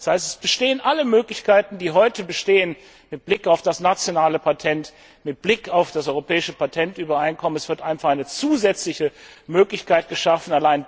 Das heißt, es bestehen alle Möglichkeiten, die heute bestehen mit Blick auf das nationale Patent, mit Blick auf das Europäische Patentübereinkommen. Es wird einfach eine zusätzliche Möglichkeit geschaffen.